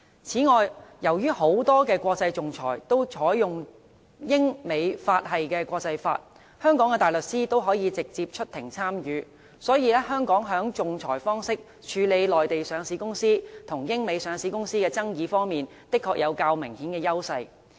此外，由於很多國際仲裁均採用英、美、法系的國際法，香港的大律師可以直接出庭參與。所以，香港在以仲裁方式處理內地上市公司與英、美上市公司的爭議方面，的確具有較明顯的優勢。